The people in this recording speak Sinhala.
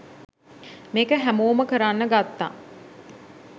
මේක හැමෝම කරන්න ගත්තා